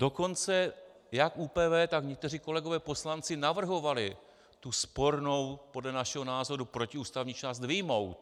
Dokonce jak ÚPV, tak někteří kolegové poslanci navrhovali tu spornou, podle našeho názoru protiústavní část vyjmout.